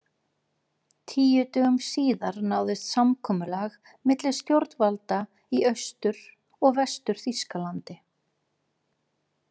Tíu dögum síðar náðist samkomulag milli stjórnvalda í Austur- og Vestur-Þýskalandi.